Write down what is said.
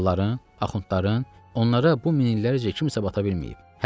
Mollaların, axundların, onlara bu minillərcə kimsə bata bilməyib.